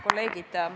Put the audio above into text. Kolleegid!